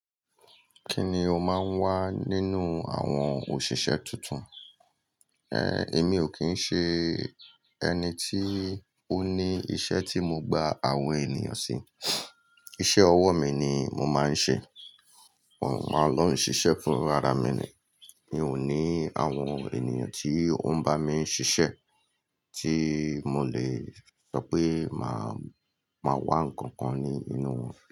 Kíni o máa ń wá nínú àwọn òṣìṣẹ́ tuntun? Èmi ò kí ń ṣe ẹni tí ó ní iṣẹ́ tí mo gba àwọn ènìyàn sí. Iṣẹ́ ọwọ́ mi ni mo máa ń ṣe. Òun máa lọ́ ń ṣiṣẹ́ fún ara mi ni. Mi ò ní àwọn ènìyàn tí ó ń bá mi ṣiṣẹ́ tí mo lè sọ pé màá, màá wá ǹkankan ní inú wọn.